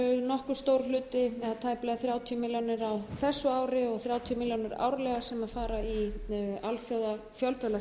nokkuð stór hluti eða tæplega þrjátíu milljónir á þessu ári og þrjátíu milljónir árlega sem fara í fjölþjóðlegt